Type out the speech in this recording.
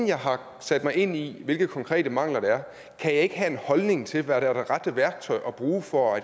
jeg har sat mig ind i hvilke konkrete mangler det er kan jeg ikke have en holdning til hvad der er det rette værktøj at bruge for